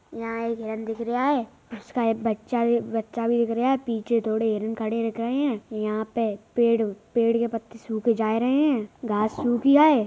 यहाँ एक हिरन दिख रीहा है। उसका एक बच्चा भी बच्चा भी दिख रीहा है पीछे थोड़े हिरन खड़े दिख रहे हैं। यहाँ पे पेड़ पेड़ के पत्ते सूखे जा रहे हैं घांस सूख ही गये।